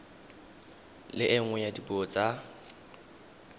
le nngwe ya dipuo tsa